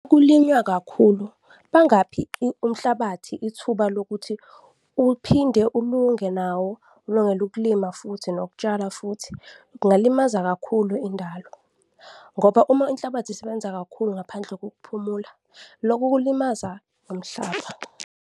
Kulinywa kakhulu, bangakuphi umhlabathi ithuba lokuthi uphinde ulunge nawo, ulungele ukulima futhi nokutshala futhi. Kungalimaza kakhulu indalo ngoba uma inhlabathi isebenza kakhulu ngaphandle kokuphumula, loku kulimaza umhlaba.